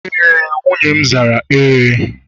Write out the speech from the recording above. e, nwunye m zara Ee.